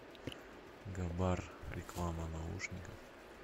габар реклама наушников